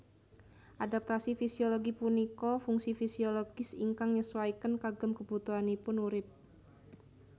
Adaptasi fisiologi punika fungsi fisiologis ingkang nyesuaiken kagem kebutuhanipun urip